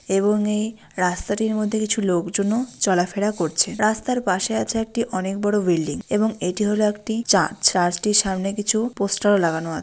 এবং এই রাস্তাটির মধ্যে কিছু লোকজনও চলাফেরা করছে | রাস্তার পাশে আছে একটি অনেক বড়ো বিল্ডিং | এবং এটি হলো একটি চার্চ | চার্চটির সামনে কিছু পোস্টার ও লাগানো আছে।